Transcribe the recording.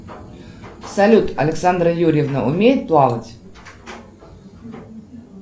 салют александра юрьевна умеет плавать